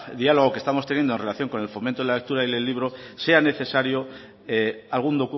diálogo que estamos teniendo en relación con el fomento de la lectura y del libro sea necesario algún